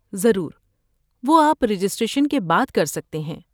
ضرور، وہ آپ رجسٹریشن کے بعد کر سکتے ہیں۔